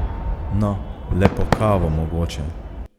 No, le po kavo mogoče.